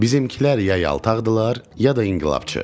Bizimkilər ya yaltaqdırlar, ya da inqilabçı.